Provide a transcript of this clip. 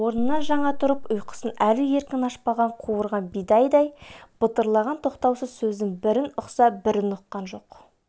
орнынан жаңа тұрып ұйқысын әлі еркін ашпаған қуырған бидайдай бытырлаған тоқтаусыз сөздің бірін ұқса бірін ұққан жоқ